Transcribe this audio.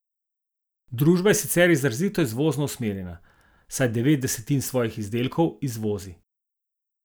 Družba je sicer izrazito izvozno usmerjena, saj devet desetin svojih izdelkov izvozi.